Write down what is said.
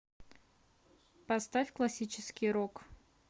поставь классический рок